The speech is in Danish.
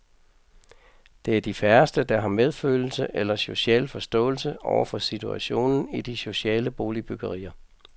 Det er de færreste, der har medfølelse eller social forståelse over for situationen i de sociale boligbyggerier.